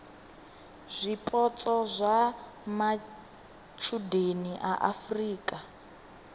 zwipotso zwa matshudeni a afurika